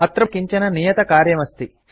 अत्र भवतां कृते किञ्चन नियतकार्यम् अस्ति